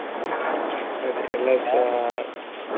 ಅದೇ ಎಲ್ಲರ್ಸಾ.